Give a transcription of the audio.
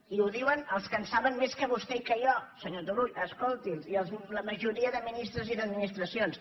i ho diuen els que en saben més que vostè i que jo senyor turull escol·ti’ls i la majoria de ministres i d’administracions